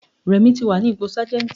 Rẹ̀mí ti wà ní ipò Sájẹ́ntì.